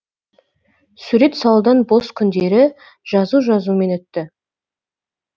сурет салудан бос күндері жазу жазумен өтті